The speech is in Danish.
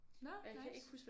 Nåh nice